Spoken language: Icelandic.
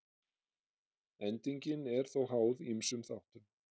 Endingin er þó háð ýmsum þáttum.